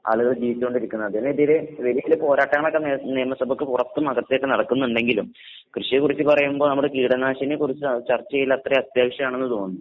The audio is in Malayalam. ആളുകള് ജീവിച്ചോണ്ടിരിക്ക്ന്നതിനെതിരെ വലിയ വലിയ പോരാട്ടങ്ങളൊക്കെ നേ നേമസഭയ്ക്ക് പൊറത്തും അകത്തൊക്കെ നടക്ക്ന്ന്ണ്ടെങ്കിലും കൃഷിയെക്കുറിച്ച് പറയുമ്പൊ നമ്മുടെ കീടനാശിനിയെക്കുറിച്ച ചർച്ച ചെയ്യലത്രേം അത്യാവശ്യാണെന്ന് തോന്നുന്നു.